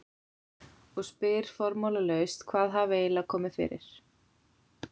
Og spyr formálalaust hvað hafi eiginlega komið fyrir.